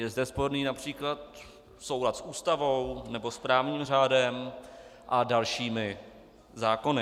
Je zde sporný například soulad s Ústavou nebo s právním řádem a dalšími zákony.